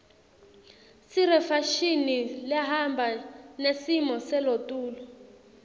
sirefashini lehamba nesimo selotulu